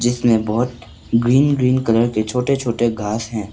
इसमें बहुत green green colour के छोटे छोटे घास हैं।